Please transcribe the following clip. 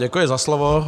Děkuji za slovo.